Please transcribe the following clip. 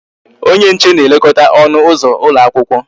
Onye nche na-elekọta ọnụ ụzọ ụlọ akwụkwọ